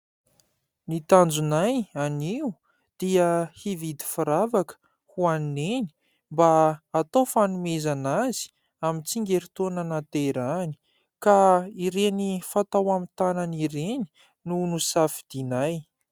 Ny tanjonay anio dia hividy firavaka ho an'i Neny mba atao fanomezana azy amin'ny tsingerintaona nahaterahany ka ireny fatao amin'ny tànana ireny no nosafidinay.